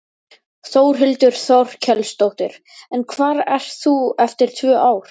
Þórhildur Þorkelsdóttir: En hvar ert þú eftir tvö ár?